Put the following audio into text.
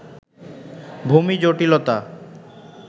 ভূমি জটিলতা